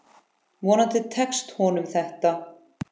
Vonandi tekst honum þetta.